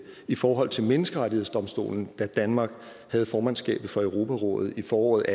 i forhold til menneskerettighedsdomstolen da danmark havde formandskabet for europarådet i foråret